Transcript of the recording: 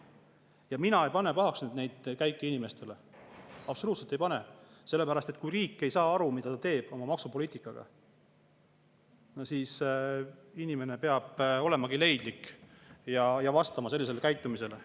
Ja mina ei pane pahaks neid käike inimestele, absoluutselt ei pane, sellepärast et kui riik ei saa aru, mida ta teeb oma maksupoliitikaga, siis inimene peab olema leidlik ja vastama sellisele käitumisele.